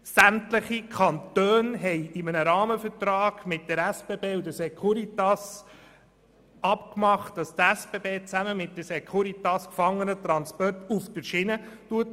Sämtliche Kantone haben in einem Rahmenvertrag mit der SBB und der Securitas ausgehandelt, dass die SBB zusammen mit der Securitas Gefangenentransporte auf der Schiene durchführt.